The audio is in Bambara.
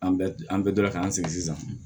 An bɛ an bɛɛ dɔn k'an sigi sisan